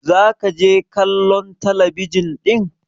za ka je kallon talabijin din!